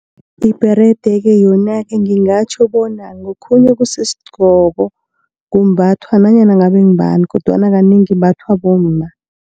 Ibherede-ke, yona-ke ngingatjho bona ngokhunye okusisigqoko kumbathwa nanyana ngabe ngubani, kodwana kanengi imbathwa bomma.